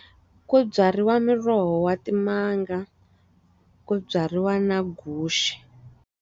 Ku byariwa miroho wa timanga, ku byariwa na guxe.